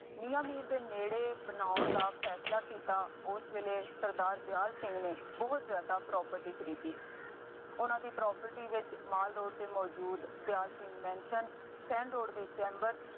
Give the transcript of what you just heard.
ਮੀਆਂ ਮੀਰ ਦੇ ਨੇੜੇ ਬਣਾਉਣ ਦਾ ਫੈਸਲਾ ਕੀਤਾ। ਉਸ ਵੇਲੇ ਸਰਦਾਰ ਦਿਆਲ ਸਿੰਘ ਨੂੰ ਬਹੁਤ ਜ਼ਿਆਦਾ property ਖਰੀਦੀ। ਉਹਨਾ ਦੀ property ਵਿੱਚ ਮਾਲ ਰੋਡ ਤੇ ਮੌਜੂਦ Dyal Singh mansion sand road ਦੇ ਚੈਬਰ